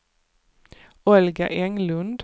Olga Englund